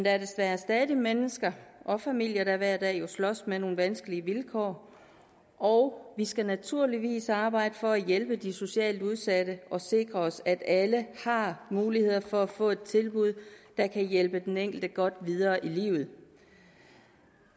er jo desværre stadig mennesker og familier der hver dag slås med nogle vanskelige vilkår og vi skal naturligvis arbejde for at hjælpe de socialt udsatte og sikre at alle har muligheder for at få et tilbud der kan hjælpe den enkelte godt videre i livet